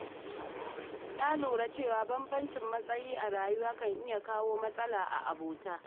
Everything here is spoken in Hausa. Na lura cewa bambancin matsayi a rayuwa kan iya kawo matsala a abota.